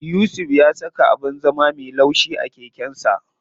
Yusuf ya saka abin zama me laushi a keken sa.